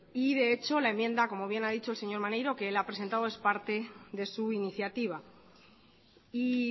y de hecho la enmienda como bien ha dicho el señor maneiro que él ha presentado es parte de su iniciativa y